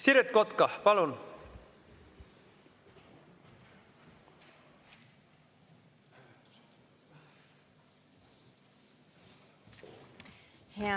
Siret Kotka, palun!